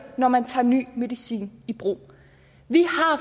når man tager ny medicin i brug vi